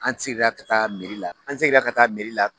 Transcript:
An segira ka taa la an seginna ka taa la